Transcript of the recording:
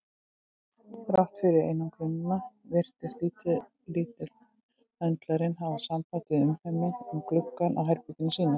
Þrátt fyrir einangrunina virtist litli höndlarinn hafa samband við umheiminn um gluggann á herbergi sínu.